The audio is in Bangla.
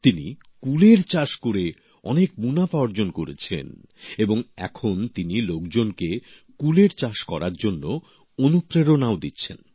তিনি কুলের চাষ করে অনেক মুনাফা অর্জন করেছেন এবং এখন তিনি লোকজনকে কুলের চাষ করার জন্য অনুপ্রেরণাও দিচ্ছেন